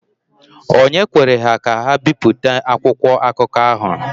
Ònye kwere ka ha bipụta akwụkwọ akụkọ ahụ?